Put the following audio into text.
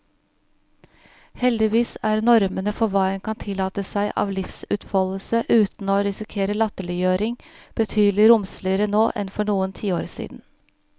Heldigvis er normene for hva en kan tillate seg av livsutfoldelse uten å risikere latterliggjøring, betydelig romsligere nå enn for noen tiår siden.